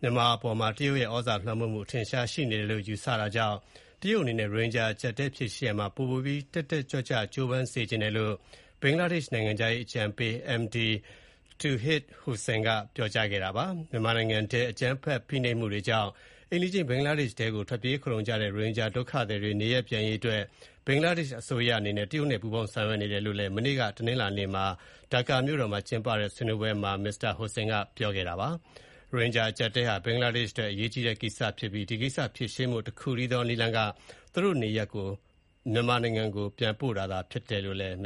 မြန်မာအပေါ်မှာ တရုတ်ရဲ့ သြဇာလွှမ်းမိုးမှု အထင်အရှား ရှိနေတယ်လို့ ယူဆတာကြောင့် တရုတ်အနေနဲ့ ရိုဟင်ဂျာ အကျပ်အတည်း ဖြေရှင်းရာမှာ ပိုပြီး တက်တက်ကြွကြွ ကြိုးပမ်းစေချင်တယ်လို့ ဘင်္ဂလားဒေ့ရှ်အစိုးရက ဆန္ဒရှိနေကြောင်း ဘင်္ဂလားဒေ့ရှ် နိုင်ငံခြားရေး အကြံပေး Md Touhid Hossain က ပြောကြားခဲ့ပါတယ်။ မြန်မာနိုင်ငံတွင်း အကြမ်းဖက် ဖိနှိပ်မှုတွေကြောင့် အိမ်နီးချင်း ဘင်္ဂလားဒေ့ရှ်ထဲ ထွက်ပြေး ခိုလှုံနေကြတဲ့ ရိုဟင်ဂျာ ဒုက္ခသည်တွေ နေရပ်ပြန်ရေး အတွက် ဘင်္ဂလားဒေ့ရှ် အစိုးရအနေနဲ့ တရုတ်နိုင်ငံနဲ့ ပူးပေါင်း ဆောင်ရွက်နေတယ်လို့လည်း မနေ့ တနင်္လာနေ့က ဒါကာ မြို့တော်မှာ ကျင်းပတဲ့ ဆွေးနွေးပွဲတခုမှာ မစ္စတာ Hossain က ပြောဆိုခဲ့ပါတယ်။ ရိုဟင်ဂျာ အကျပ်အတည်းဟာ ဘင်္ဂလားဒေ့ရှ် အတွက် အရေးကြီးတဲ့ ကိစ္စရပ်ဖြစ်ပြီး ဒီကိစ္စ ဖြေရှင်းဖို့ တခုတည်းသော နည်းလမ်းက သူတို့ကို နေရပ် မြန်မာနိုင်ငံကို ပြန်ပို့တာသာ ဖြစ်တယ်လို့လည်း Mr.